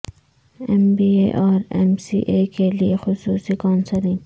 M B A اور M C A کیلئے خصوصی کونسلنگ